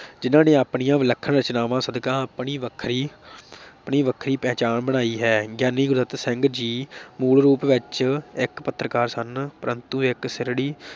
ਜਿਨ੍ਹਾਂ ਨੇ ਆਪਣੀਆਂ ਵਿਲੱਖਣ ਰਚਨਾਵਾਂ ਸਦਕਾ ਆਪਣੀ ਵੱਖਰੀ ਆਪਣੀ ਵੱਖਰੀ ਪਹਿਚਾਣ ਬਣਾਈ ਹੈ, ਗਿਆਨੀ ਗੁਰਦਿੱਤ ਸਿੰਘ ਜੀ ਮੂਲ ਰੂਪ ਵਿਚ ਇਕ ਪੱਤਰਕਾਰ ਸਨ, ਪਰੰਤੂ ਇਕ ਸਿਰੜੀ